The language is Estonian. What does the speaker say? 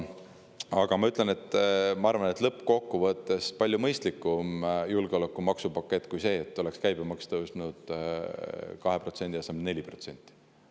Aga ma arvan, et lõppkokkuvõttes on see palju mõistlikum julgeolekumaksupakett kui see, et käibemaks oleks tõusnud 2% asemel 4%.